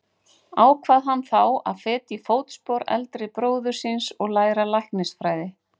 Ákvað hann þá að feta í fótspor eldri bróður síns og læra læknisfræði.